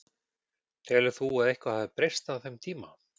Telur þú að eitthvað hafi breyst á þeim tíma?